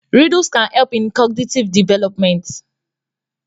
Riddles can help in cognitive development